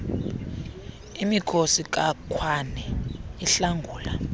imikhosi kakhwane ihlangula